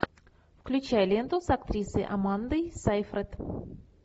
включай ленту с актрисой амандой сайфред